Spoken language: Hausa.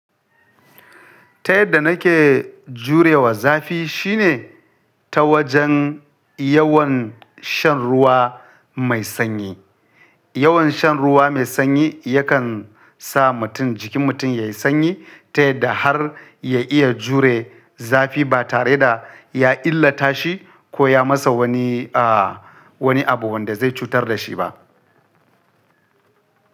Ta yadda nake jurewa zafi shine ta wajen yawan shan ruwa mai sanyi. Yawan shan ruwa mai sanyi yakan sa mutum jikin mutum ya yi sanyi ta yadda har ya iya jure zafi ba tare da ya illata shi ko ya masa wani, a wani abu wanda zai cutar da shi ba.